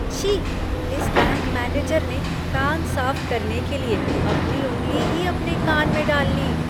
छी! इस bank manager ने कान साफ करने के लिए अपनी उंगली ही अपने कान में डाल ली।